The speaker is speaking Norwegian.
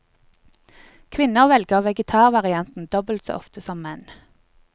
Kvinner velger vegetarvarianten dobbelt så ofte som menn.